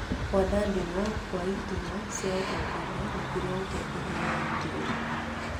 Kwandandũrwo gwa ĩturwa cia ũtongorĩa rungu rwa ũtongorĩa wa Mũthurĩ.